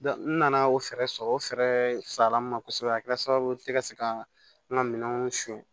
n nana o fɛɛrɛ sɔrɔ o fɛɛrɛ sala min na kosɛbɛ a kɛra sababu ye ne ka se ka n ka minɛnw son